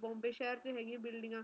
ਬੰਬੇ ਸ਼ਹਿਰ ਚ ਹੇਗੀਆਂ ਬਿਲਡਿੰਗਾਂ